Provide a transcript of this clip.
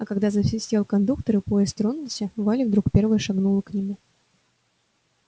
а когда засвистел кондуктор и поезд тронулся валя вдруг первая шагнула к нему